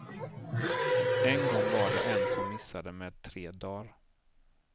En gång var det en som missade med tre dar.